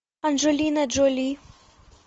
анджелина джоли